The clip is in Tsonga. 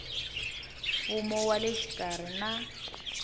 mfumo wa le xikarhi na